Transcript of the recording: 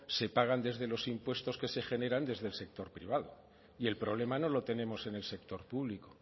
se paga desde los impuestos que se generan desde el sector privado y el problema no lo tenemos en el sector público